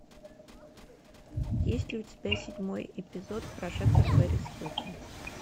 есть ли у тебя седьмой эпизод прожекторперисхилтон